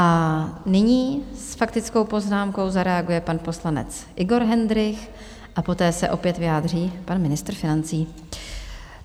A nyní s faktickou poznámkou zareaguje pan poslanec Igor Hendrych a poté se opět vyjádří pan ministr financí.